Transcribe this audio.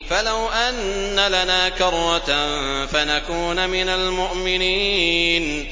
فَلَوْ أَنَّ لَنَا كَرَّةً فَنَكُونَ مِنَ الْمُؤْمِنِينَ